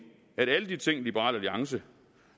er der alle de ting som liberal alliance